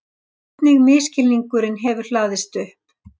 Hvernig misskilningurinn hefur hlaðist upp.